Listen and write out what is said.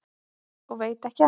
Og veit ekki enn.